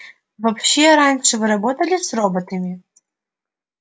вообще раньше вы работали с роботами